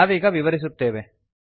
ನಾವೀಗ ವಿವರಿಸುತ್ತೇವೆ